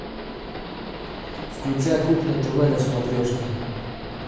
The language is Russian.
включай кухня тв на смотрешке